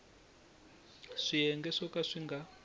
swiyenge swo ka swi nga